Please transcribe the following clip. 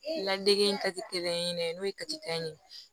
Ladege in ta tɛ kelen ye dɛ n'o ye ye